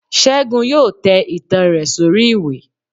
segun yóò tẹ itán rẹ sori ìwé